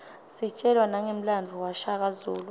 sitjelwa nangemlandvo washaka zulu